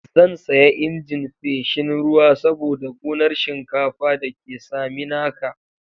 Zan saya injin feshin ruwa saboda gonar shinkafa da ke Saminaka.